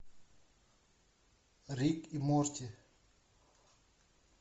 рик и морти